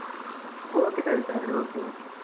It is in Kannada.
Okay ಸರಿತಾವ್ರೆ, okay okay .